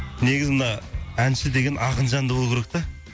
негізі мына әнші деген ақын жанды болу керек та